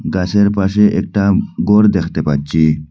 গাছের পাশে একটা গর দেখতে পারছি।